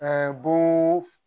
bon